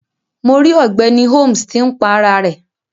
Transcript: Mo ri ogbeni Holmes ti n pá ara rẹ.